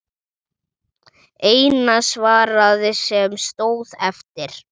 Eina svarið sem stóð eftir.